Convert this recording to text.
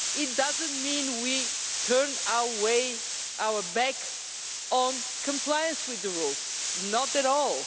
It does not mean we turn our backs on compliance with the rules not at all.